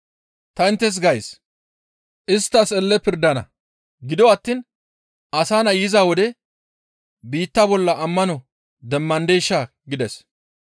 Ta inttes gays; izi isttas elle pirdana; gido attiin Asa Nay yiza wode biitta bolla ammano demmandeshaa?» gides.